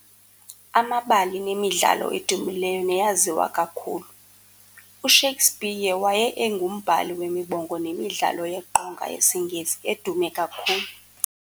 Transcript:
Amabali nemidlalo edumileyo neyaziwa kakhulu. uShakespeare waye engumbhali wemibongo nemidlalo yeqonga yesiNgesi edume kakhulu.